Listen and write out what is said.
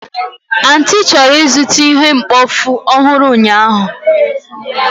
Aunty chọrọ ịzụta ihe mkpofu ọhụrụ ụnyahụ.